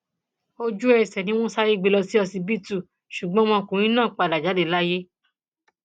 ojú ẹsẹ ni wọn sáré gbé e lọ sí ọsibítù ṣùgbọn ọmọkùnrin náà padà jáde láyé